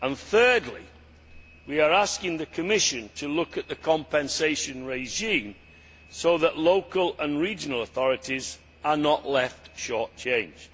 Thirdly, we are asking the Commission to look at the compensation regime so that local and regional authorities are not left short changed.